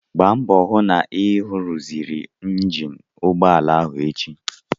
Gbaa mbọ hụ na ị ruziri injin ụgbọala ahụ echi!